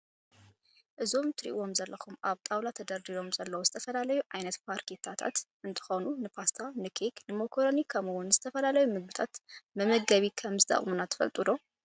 እዞም እትሪእዎም ዘለኹም ኣብ ጣውሎ ተደርዲሮም ዘለው ዝተፈላለዩ ዓይነታት ፋርኬታ እንተኸውን ንፓስታ፣ ንኬክ፣ ንሞኮረኒ ከምኡውን ዝተፈላለዩ ምግብታት መመገቢ ከም እንጥቅሙና ትፈልጡ 'ዶ?